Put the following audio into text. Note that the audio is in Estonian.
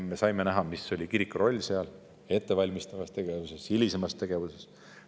Me saime näha, mis oli kiriku roll seal ettevalmistavas tegevuses, hilisemas tegevuses.